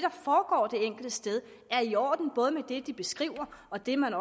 enkelte sted er i orden både med det de beskriver og det man